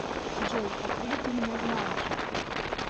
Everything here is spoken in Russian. джой откуда ты меня знаешь